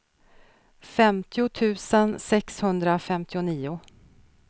femtio tusen sexhundrafemtionio